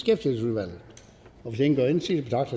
med